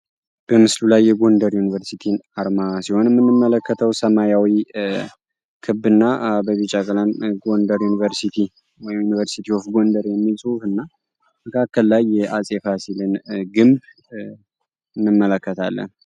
በምስሉ ላይ የጎንደር ዮኒቨርሲቲ አርማ ሲሆን የምንመለከተው ሰማያዊ ክብ እና በቢጫ ቀለም ጎንደር ዮኒቨርሲቲ ወይንም ደግሞ ዮኒቨርስቲ ኦፍ ጎንደር የሚል ፅሁፍ እና በካከል ላይ የአፄ ፋሲልን ግንብ እንመለከታለን።